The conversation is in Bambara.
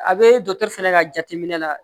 A be dɔkɔtɔrɔ fɛnɛ ka jateminɛ la